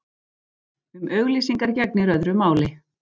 Um auglýsingar gegnir öðru máli.